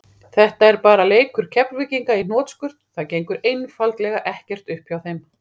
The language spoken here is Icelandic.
Þetta er bara leikur Keflvíkinga í hnotskurn, það gengur einfaldlega ekkert upp hjá þeim.